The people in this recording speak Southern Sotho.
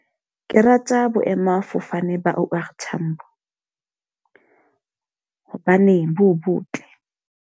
Ke rata boemafofane ba O_R Tambo hobane bo botle.